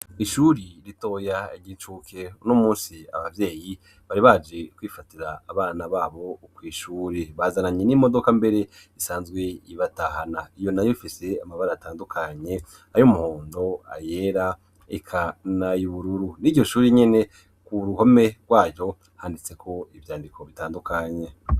Ishuri ritoya igicuke no musi abavyeyi bari baje kwifatira abana babo ukw'ishuri bazananye n'imodoka mbere isanzwe ibatahana iyo na yiumfise amabara atandukanye ayo umuhundo ayera ikanayibururu ni ryo shuri nyene ku ruhome rwayo hanitseko ivyandiko bitandukanye.